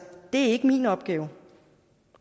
det er ikke min opgave